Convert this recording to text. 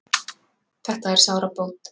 Þetta er sárabót